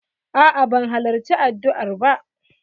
A'a ban halarci addua'r ba.